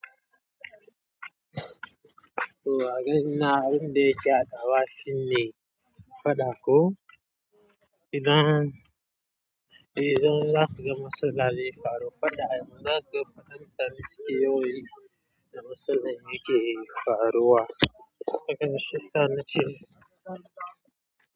To agani na yanda ciyawa cin ne faɗa ko idan, idan za ka ga matsala zai faru faɗa yama, naga faɗan tariski yoyi na matsalai yake faruwa. Shiyasa nace.